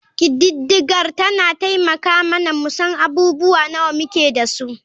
Ƙididdigar tana taimaka mana mu san abubuwa nawa muke da su.